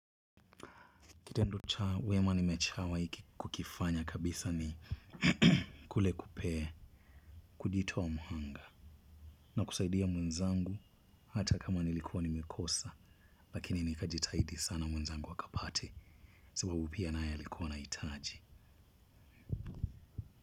Kitendo cha wema nimechawai ki kukifanya kabisa ni kule kupe kujitoa muhanga na kusaidia mwenzangu, hata kama nilikuwa nimekosa lakini nikajitahidi sana mwenzangu akapate sababu pia naye alikuwa anahitaji.